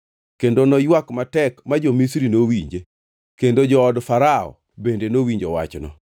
Kendo noywak matek ma jo-Misri nowinje, kendo jood Farao bende nowinjo wachno.